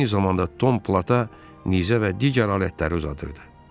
Eyni zamanda Tom Plata nizə və digər alətləri uzadırdı.